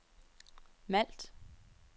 Malt